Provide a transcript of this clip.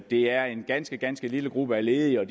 det er en ganske ganske lille gruppe af ledige og